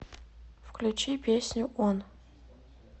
включи песню он